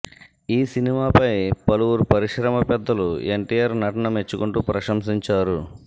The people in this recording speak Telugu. ఈ సినిమాపై పలువురు పరిశ్రమ పెద్దలు ఎన్టీఆర్ నటన మెచ్చుకుంటూ ప్రశంసించారు